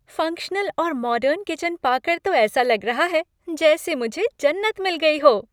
Functional और modern kitchen पाकर तो ऐसा लग रहा है जैसे मुझे जन्नत मिल गई हो।